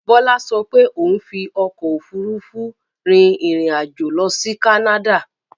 Bọ́lá ṣo pé òun fi ọkò òfurufú rin ìrìn àjò lọ sí Canada.